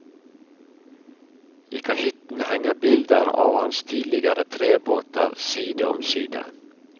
I kahytten henger bilder av hans tidligere trebåter side om side.